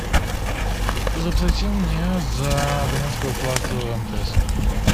заплати мне за абонентскую плату мтс